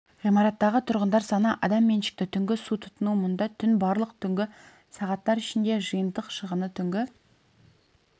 ғимараттағы тұрғындар саны адам меншікті түнгі су тұтыну мұнда түн барлық түнгі сағаттар ішінде жиынтық шығыны түнгі